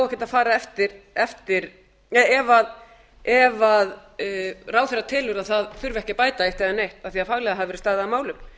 ekkert að fara eftir ef ráðherra telur að það þurfi ekki að bæta eitt eða neitt af því að faglega hafi verið staðið að málum